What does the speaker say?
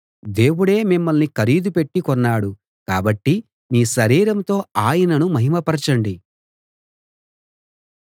దేవుడే మిమ్మల్ని ఖరీదు పెట్టి కొన్నాడు కాబట్టి మీ శరీరంతో ఆయనను మహిమ పరచండి